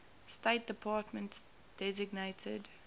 state department designated